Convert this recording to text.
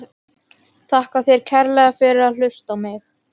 Þakka þér kærlega fyrir að hlusta á mig!